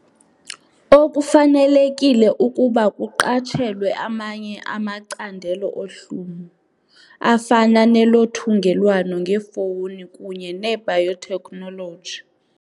Okufanelekile ukuba kuqatshelwe amanye amacandelo ohlumo, afana nelothungelwano ngefowuni kunye ne-biotechnology.